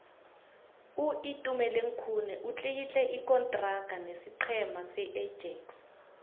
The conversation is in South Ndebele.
uitumeleng khune utlikitle ikontraga nesiqhema seajax